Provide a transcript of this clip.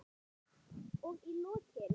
Og í lokin.